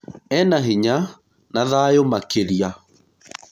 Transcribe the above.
Ena hinya na thayũmakĩrĩa